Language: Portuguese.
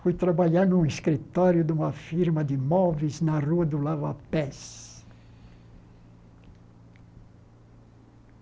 Fui trabalhar num escritório de uma firma de móveis na rua do Lava Pés.